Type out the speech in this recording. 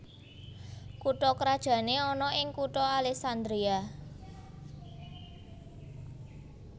Kutha krajané ana ing kutha Alessandria